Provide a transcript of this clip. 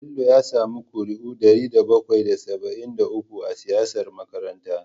Bello ya sami ƙuri'u ɗari bakwai da saba'in da uku a siyar makaranta.